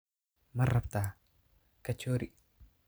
Ma rabtaa kachori?